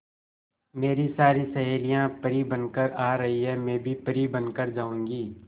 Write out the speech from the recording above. मेरी सारी सहेलियां परी बनकर आ रही है मैं भी परी बन कर जाऊंगी